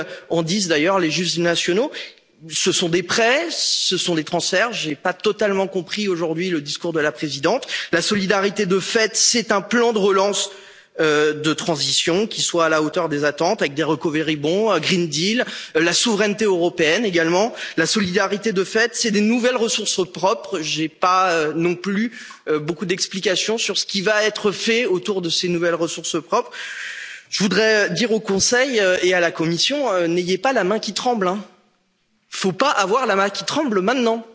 quoi qu'en disent d'ailleurs les juges nationaux. Ce sont des prêts, ce sont des transferts. Je n'ai pas totalement compris aujourd'hui le discours de la présidente. La solidarité de fait, c'est un plan de relance et de transition qui soit à la hauteur des attentes, avec des recovery bonds un pacte vert européen, la souveraineté européenne également. La solidarité de fait, ce sont des nouvelles ressources propres. Je n'ai pas non plus beaucoup d'explications sur ce qui va être fait autour de ces nouvelles ressources propres. Je voudrais dire au Conseil et à la Commission n'ayez pas la main qui tremble. Il ne faut pas avoir la main qui tremble